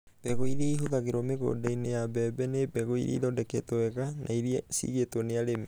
mbegũ iria ĩhũthagĩrũo mĩgũnda-inĩ ya mbembe nĩ mbegũ iria ithondeketwo wega na iria ciigĩtwo nĩ arĩmi.